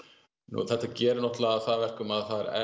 þetta gerir það að verkum að það er